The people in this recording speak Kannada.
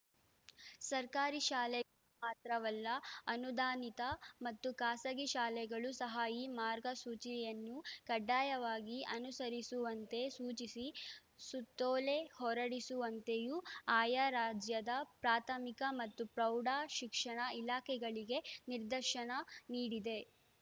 ಸರ್ಕಾರಿ ಶಾಲೆ ಮಾತ್ರವಲ್ಲ ಅನುದಾನಿತ ಮತ್ತು ಖಾಸಗಿ ಶಾಲೆಗಳು ಸಹ ಈ ಮಾರ್ಗಸೂಚಿಯನ್ನು ಕಡ್ಡಾಯವಾಗಿ ಅನುಸರಿಸುವಂತೆ ಸೂಚಿಸಿ ಸುತ್ತೋಲೆ ಹೊರಡಿಸುವಂತೆಯೂ ಆಯಾ ರಾಜ್ಯದ ಪ್ರಾಥಮಿಕ ಮತ್ತು ಪ್ರೌಢಶಿಕ್ಷಣ ಇಲಾಖೆಗಳಿಗೆ ನಿರ್ದಶನ ನೀಡಿದೆ